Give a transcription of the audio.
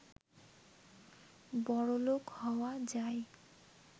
বড়লোক হওয়া যায়